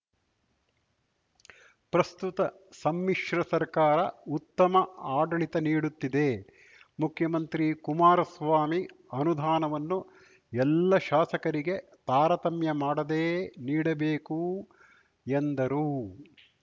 ಪ್ರಸ್ತುತ ಸಮ್ಮಿಶ್ರ ಸರ್ಕಾರ ಉತ್ತಮ ಆಡಳಿತ ನೀಡುತ್ತಿದೆ ಮುಖ್ಯಮಂತ್ರಿ ಕುಮಾರಸ್ವಾಮಿ ಅನುದಾನವನ್ನು ಎಲ್ಲಾ ಶಾಸಕರಿಗೆ ತಾರತಮ್ಯ ಮಾಡದೇ ನೀಡಬೇಕು ಎಂದರು